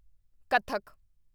Kathak